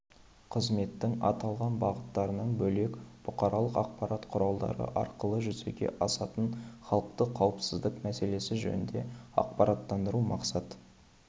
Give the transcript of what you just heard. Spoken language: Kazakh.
қызметтің аталған бағыттарынан бөлек бұқаралық ақпарат құралдары арқылы жүзеге асатын халықты қауіпсіздік мәселесі жөнінде ақпараттандыруды мақсат